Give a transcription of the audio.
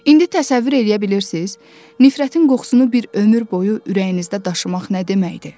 İndi təsəvvür eləyə bilirsiz, nifrətin qoxusunu bir ömür boyu ürəyinizdə daşımaq nə deməkdir?